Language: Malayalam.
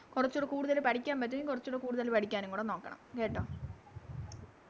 കൊറച്ചൂടെ കൂടുതൽ പഠിക്കാൻ പറ്റുമെങ്കിൽ കൊറച്ചൂടെ കൂടുതല് പഠിക്കാനും കൂടെ നോക്കണം കേട്ടോ